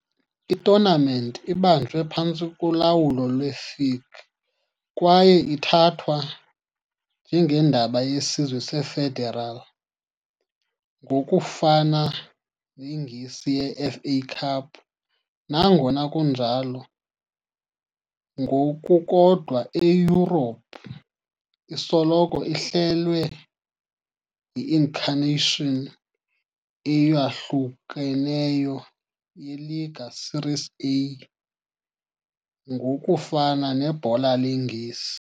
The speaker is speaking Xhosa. I-tournament ibanjwe phantsi kolawulo lwe-FIGC kwaye ithathwa njengendebe yesizwe ye-federal, ngokufana neNgesi ye-FA Cup, nangona kunjalo, ngokukodwa eYurophu, isoloko ihlelwe yi-incarnations eyahlukeneyo ye- Lega Serie A, ngokufana neBhola leNgesi.